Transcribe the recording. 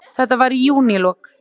Þetta var í júnílok.